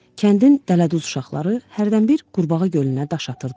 Kəndin dələduz uşaqları hərdənbir qurbağa gölünə daş atırdılar.